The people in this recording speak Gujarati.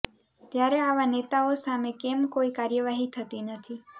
ત્યારે આવા નેતાઓ સામે કેમ કોઇ કાર્યવાહી થતી નથી